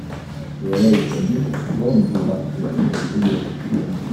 bẹrẹ ìtọ́jú lẹ́yìn tí o bá ti ṣe àyẹ̀wò tó yẹ yẹ